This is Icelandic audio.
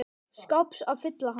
skáps að fylla hann.